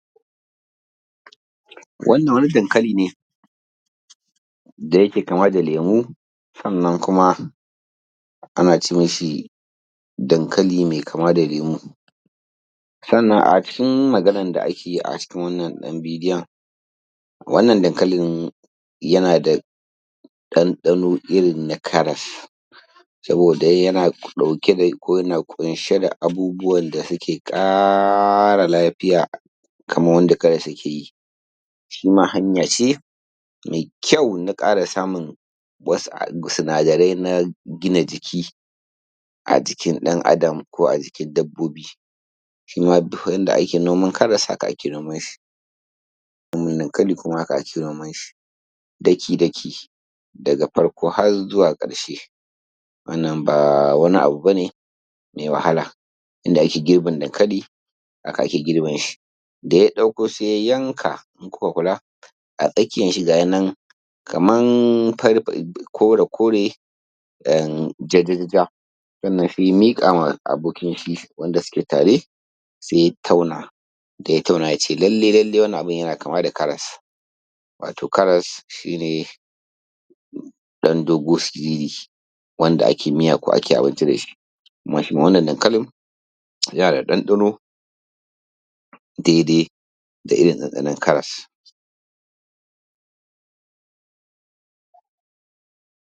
Wannan wani dankali ne da yake kama da lemu, sannan kuma ana ce mai dankali mai kama da lemu. A cin ma, zanin da ake yi a cikin wannan daŋ bidiyon. Wannan dankalin yana da ɗanɗano irin na karas, saboda yana ɗauke da ko yana ƙunshe da abubbuwan da suke ƙara lafiya, kaman wanda karas yake yi. Shi ma, 'ya'yance mai kyau na ƙara samun wasu sinadarai na gina jiki a jikin ɗaŋ'Adam ko a jikin dabbobi. Yanda ake noman karas, haka ake noman shi. Noman dankali kuma haka ake noman shi daki-daki daga farko har zuwa ƙarke. Wannan ba wani abu ba ne mai wahala. Yanda ake gibin dankali, haka ake girbin shi. Da ya dako, sai ya yanka. In kuka lura, a tsakiyan shi ga yi nan kaman fari, kore-kore, ja-ja-ja. Sannan sai ya miƙa ma abokin shi wanda suke tare, sai ya taunata, ya tauna, ya ce lallai-lallai wannan abun ya ma kama da karas. Wato, karas shi ne ɗan dogo siriri wanda ake miya ko ake abinci da shi. Amma shi ma, wannan daŋkalin yana da ɗaŋɗano daidai da ɗaŋɗanon karas.